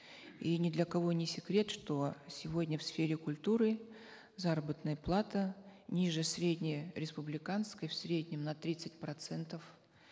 и ни для кого не секрет что сегодня в сфере культуры заработная плата ниже средне республиканской в среднем на тридцать процентов